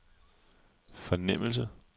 fornemmelse